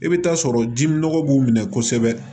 I bɛ taa sɔrɔ dimi nɔgɔ b'u minɛ kosɛbɛ